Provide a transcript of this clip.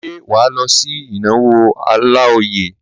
Ṣé wà á lọ sí ìnáwó Ọláoyè?